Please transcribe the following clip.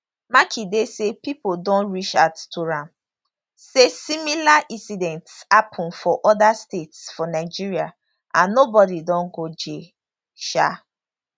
makinde say pipo don reach out to am say similar incidents happun for oda states for nigeria and nobody don go jail um